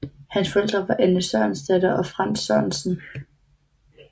Hans forældre var Anne Sørensdatter og Frantz Sørensen